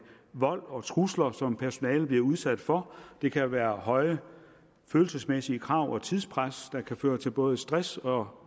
vold og trusler som personalet bliver udsat for det kan være høje følelsesmæssige krav og tidspres der kan føre til både stress og